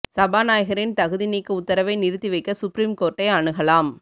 சபாநாயகரின் தகுதி நீக்க உத்தரவை நிறுத்தி வைக்க சுப்ரீம் கோர்ட்டை அணுகலாம்